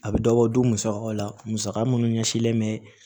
A bɛ dɔbɔ du musakaw la musaka minnu ɲɛsinlen bɛ